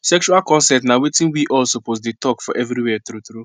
sexual consent na watin we all suppose dey talk for everywhere true true